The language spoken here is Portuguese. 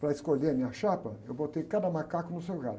Para escolher a minha chapa, eu botei cada macaco no seu lugar.